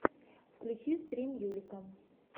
включи стрим юлика